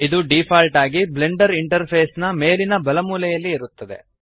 ಇದು ಡಿಫಾಲ್ಟ್ ಆಗಿ Blender interface ನ ಮೇಲಿನ ಬಲಮೂಲೆಯಲ್ಲಿ ಇರುತ್ತದೆ